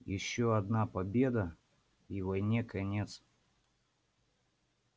ещё одна победа и войне конец